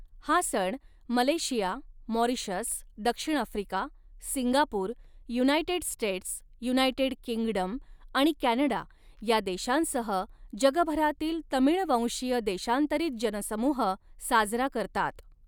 हा सण Malaysia, Mauritius, दक्षिण Africa, Singapore, United States, United Kingdom आणि कॅनडा या देशांसह जगभरातील तमिळवंशीय देशांतरीत जनसमूह साजरा करतात.